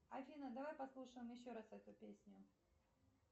афина давай послушаем еще раз эту песню